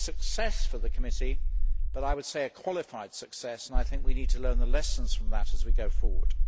It is a success for the committee, but I would say a qualified success, and we need to learn the lessons from that as we go forward.